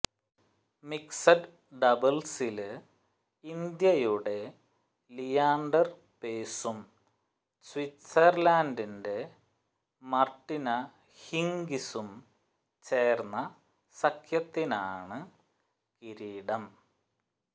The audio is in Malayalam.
മിക്സഡ് ഡബിള്സില് ഇന്ത്യയുടെ ലിയാന്ഡര് പേസും സ്വിറ്റ്സര്ലന്ഡിന്റെ മാര്ട്ടിന ഹിംഗിസും ചേര്ന്ന സഖ്യത്തിനാണ് കിരീടം